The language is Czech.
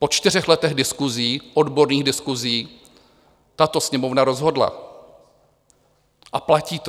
Po čtyřech letech diskusí, odborných diskusí, tato Sněmovna rozhodla a platí to.